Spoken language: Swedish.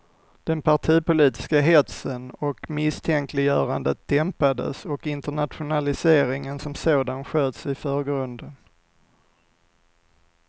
Den partipolitiska hetsen och misstänkliggörandet dämpades och internationaliseringen som sådan sköts i förgrunden.